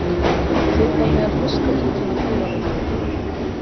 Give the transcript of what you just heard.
Hiti er meðal fyrstu einkenna taugaveiki.